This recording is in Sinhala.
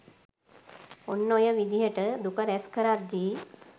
ඔන්න ඔය විදිහට දුක රැස්කරද්දී